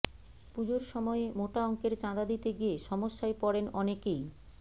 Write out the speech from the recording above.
পুজোর সময়ে মোটা অঙ্কের চাঁদা দিতে গিয়ে সমস্যায় পড়েন অনেকেই